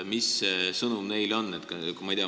Mis see neile antav sõnum on?